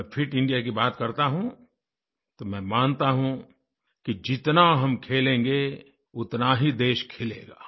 जब में fit India की बात करता हूँ तो मैं मानता हूँ कि जितना हम खेलेंगे उतना ही देश खेलेगा